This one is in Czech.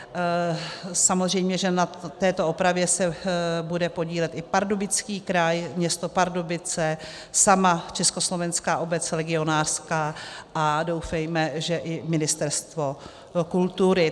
Samozřejmě že na této opravě se bude podílet i Pardubický kraj, město Pardubice, sama Československá obec legionářská a doufejme, že i Ministerstvo kultury.